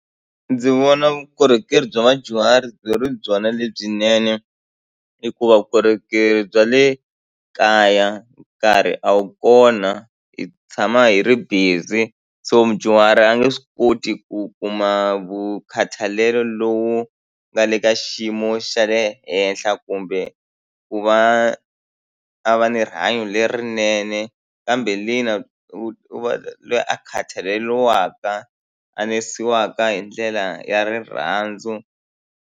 Ndzi vona vukorhokeri bya vadyuhari byi ri byona lebyinene hikuva vukorhokeri bya le kaya nkarhi a wu kona hi ku tshama hi ri busy so mudyuhari a nge swi koti ku kuma vukhatalelo lowu nga le ka xiyimo xa le henhla kumbe ku va a va ni rihanyo lerinene kambe lena u va loyi a khathaleliwaka a nesiwaka hi ndlela ya rirhandzu.